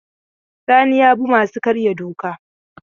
Sani ya bi masu karya doka.